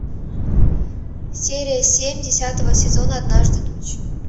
серия семь десятого сезона однажды ночью